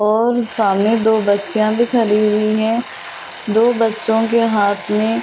और सामने दो बच्चियां भी खड़ी हुई हैं दो बच्चों के हाथ में ।